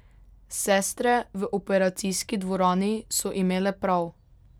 Sestre v operacijski dvorani so imele prav.